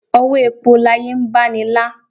òwọ èpo láye ń baní lá